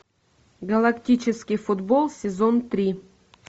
галактический футбол сезон три